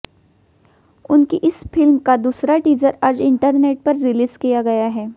उनकी इस फिल्म का दूसरा टीजर आज इंटरनेट पर रिलीज किया गया है